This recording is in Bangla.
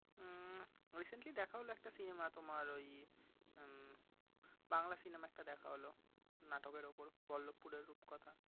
উম Recently দেখা হলো একটা cinema তোমার ওই উম বাংলা cinema একটা দেখা হলো নাটকের উপর পল্লব রূপের রূপকথা।